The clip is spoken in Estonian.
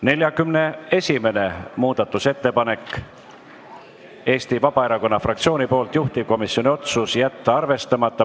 41. muudatusettepanek on Eesti Vabaerakonna fraktsioonilt, juhtivkomisjoni otsus: jätta arvestamata.